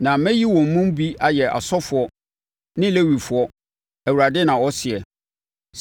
Na mɛyi wɔn mu bi ayɛ asɔfoɔ ne Lewifoɔ,” Awurade, na ɔseɛ!